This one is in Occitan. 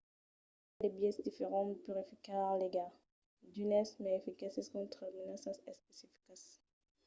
i a de biaisses diferents de purificar l'aiga d'unes mai eficaces contra de menaças especificas